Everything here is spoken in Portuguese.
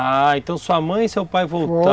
Ah, então sua mãe e seu pai voltaram. Foi...